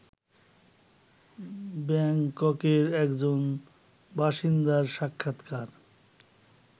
ব্যাংককের একজন বাসিন্দার সাক্ষাৎকার